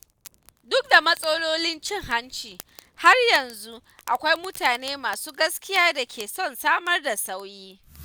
Duk da matsalolin cin hanci, har yanzu akwai mutane masu gaskiya da ke son samar da sauyi.